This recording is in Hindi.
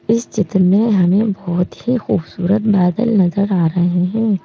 इस चित्र में हमें बहुत ही खूबसूरत बादल नजर आ रहे हैं।